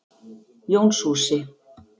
Jónshúsi